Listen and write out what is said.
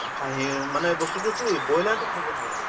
খাহিৰ মানে বস্তুটো কি ব্ৰইলাৰ টো খাব নালাগে।